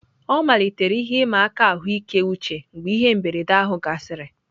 Ọ malitere ihe ịma aka ahụike uche mgbe ihe mberede ahụ gasịrị.